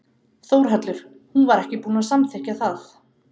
Þórhallur: Hún var ekki búin að samþykkja það?